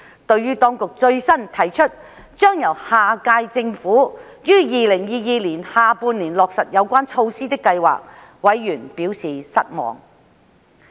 對於當局最新提出將由下屆政府於2022年下半年落實有關措施的計劃，委員表示失望。